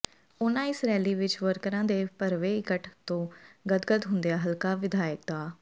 ਉਨ੍ਹਾਂ ਇਸ ਰੈਲੀ ਵਿੱਚ ਵਰਕਰਾਂ ਦੇ ਭਰਵੇਂ ਇਕੱਠ ਤੋਂ ਗਦਗਦ ਹੁੰਦਿਆਂ ਹਲਕਾ ਵਿਧਾਇਕ ਡਾ